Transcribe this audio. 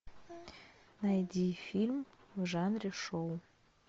найди фильм в жанре шоу